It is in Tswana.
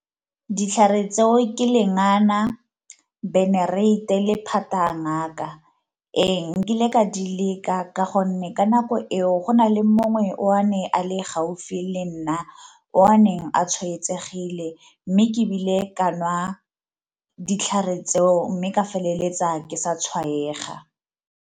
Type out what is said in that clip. Ditlhare tseo ke lengana, benereiti, le phate ya ngaka. Ee, nkile ka di leka ka gonne ka nako eo go na le mongwe o a neng e a le gaufi le nna o a neng a tshwaetsegile mme ebile ka nwa ditlhare tseo mme ka feleletsa ke sa tshwaega.